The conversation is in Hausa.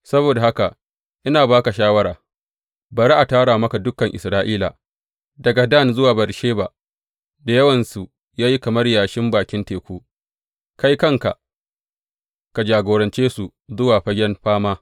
Saboda haka ina ba ka shawara, bari a tara maka dukan Isra’ila, daga Dan zuwa Beyersheba da yawansu ya yi kamar yashin bakin teku, kai kanka ka jagorance su zuwa fagen fama.